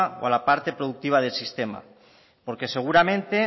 o la parte productiva del sistema porque seguramente